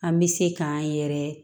An bɛ se k'an yɛrɛ